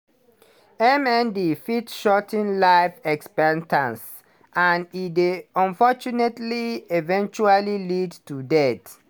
mnd fit shor ten life expectancy and e dey unfortunately eventually lead to death.